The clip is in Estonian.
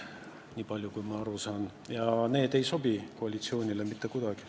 Nii palju kui ma aru saan, siis see ei sobi koalitsioonile mitte kuidagi.